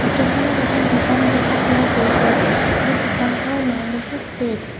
ফটোখনত এখন দোকান দেখা পোৱা গৈছে আৰু দোকানখনৰ নাম হৈছে টেক ।